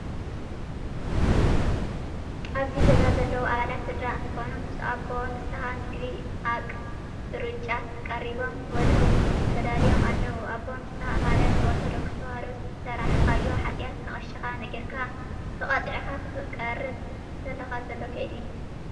ኣብዚ ገዛ ዘለው ኣባላት ስድራ እንትኮኑ ምስ ኣቦ ንሰሃ ምግቢ ኣቅ ርጫት ቀሪቦም ክበልዑ ተዳልዮም ኣለው። ኣቦ ንሳሃ ማለት ብኦርቶዶክስ ተዋህዶ ዝሰራሕካዮ ሓጥያት ንቀሽካ ነጊርካ ተቀፂዕካ ክትቆርብ እንተለካ ዘሎ ከይዲ እዩ።